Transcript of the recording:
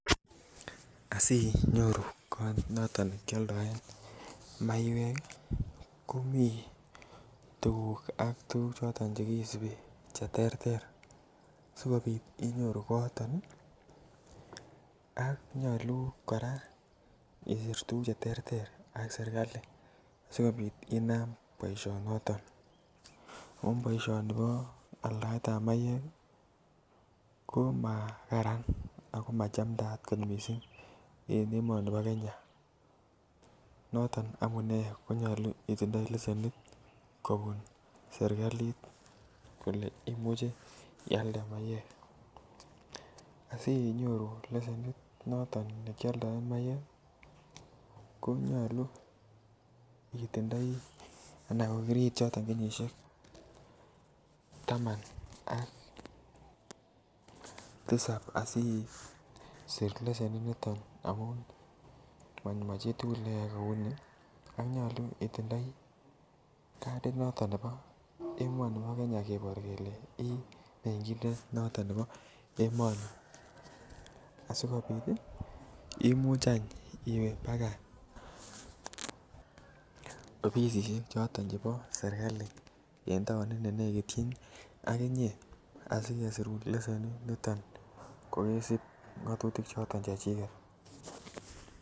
Asinyoru kot noton kioldoen maiek ih komii tuguk ak tuguk choton chekisibi cheterter sikobit inyoru kooton ih ak nyolu kora isir tuguk cheterter ak serkali sikobit inam boisionoton ako boisioni bo aldaet ab maiek ih komakaran ako machamdaat kot missing en emonibo Kenya noton amunee konyolu itindoi leshenit kobun serkalit kole imuche ialde maiek, asinyoru leshenit noton nekioldoen maiek ih konyolu itindoi anan ko kiriit kenyisiek taman ak tisap asisir lesenit niton ako machitugul neyoe kou ni ako nyolu itindoi kadit noton nebo emoni bo Kenya kebor kele imeng'indet noton nebo emoni asikobit ih imuch any iwe baka ofisisiek choton chebo serkali en taonit nenekityin ak inyee asikesirun lesenit niton kokesib ng'otutik choton chechiket